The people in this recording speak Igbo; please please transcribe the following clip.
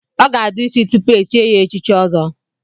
Ọ ga-adụ isi tupu echie ya echichi Ọzọ.